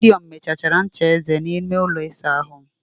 Gideon mechachara ncha eze n'ime ụlọ ịsa ahụ m.